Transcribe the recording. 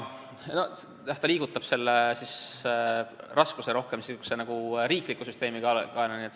Ta ju liigutab kogu raskuse rohkem riikliku süsteemi kaela.